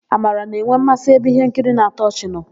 Amara na-enwe mmasị ebe íhénkiri na-atọ ọchị nọ.